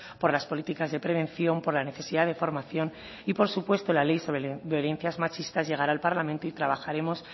por las políticas de prevención por la necesidad de formación y por supuesto la ley sobre violencias machistas llegará al parlamento y trabajaremos